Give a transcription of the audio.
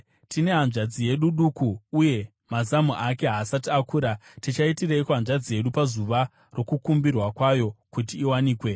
Tine hanzvadzi yedu duku uye mazamu ake haasati akura. Tichaitireiko hanzvadzi yedu pazuva rokukumbirwa kwayo kuti iwanikwe?